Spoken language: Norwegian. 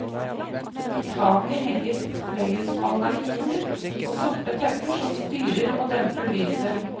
I taket henger fløyelsbaldakiner og sorte tepper som styrer og demper lyset.